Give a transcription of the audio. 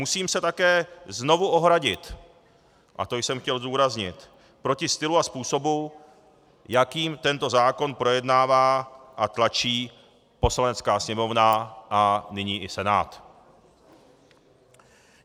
Musím se také znovu ohradit, a to jsem chtěl zdůraznit, proti stylu a způsobu, jakým tento zákon projednává a tlačí Poslanecká sněmovna a nyní i Senát.